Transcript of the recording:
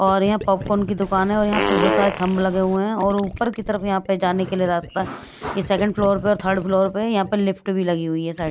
और यहाँ पॉपकॉर्न की दुकान है और यहाँ प बहुत सारे थंब लगे हुए हैं और ऊपर की तरफ यहाँ पे जाने के लिए रास्ता ये सेकंड फ्लोर पे और थर्ड फ्लोर पे यहाँ पर लिफ्ट भी लगी हुई है साई --